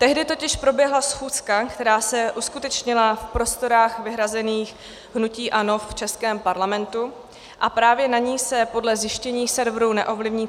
Tehdy totiž proběhla schůzka, která se uskutečnila v prostorách vyhrazených hnutí ANO v českém Parlamentu, a právě na ní se podle zjištění serveru neovlivní.